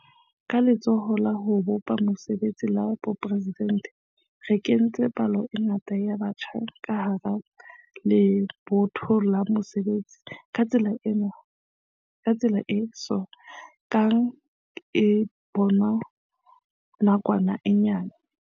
Ka Letsholo la ho bopa Mesebetsi la Boporesidente re kentse palo e ngata ya batjha ka hara lebotho la basebetsi ka tsela e so kang e bonwa ka nakwana e nyane.